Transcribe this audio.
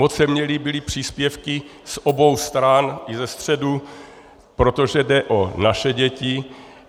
Moc se mi líbily příspěvky z obou stran i ze středu, protože jde o naše děti.